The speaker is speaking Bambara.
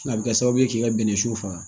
A bɛ kɛ sababu ye k'i ka bɛnɛsu faga